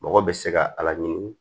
Mɔgɔ bɛ se ka ala ɲini